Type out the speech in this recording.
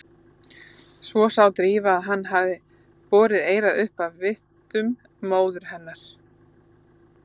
Svo sá Drífa að hann hafði borið eyrað upp að vitum móður hennar.